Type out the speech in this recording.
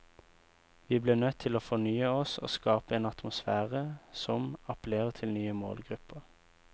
Vi ble nødt til å fornye oss og skape en atmosfære som appellerer til nye målgrupper.